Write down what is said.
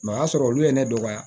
o y'a sɔrɔ olu ye ne dɔgɔya